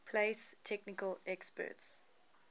place technical experts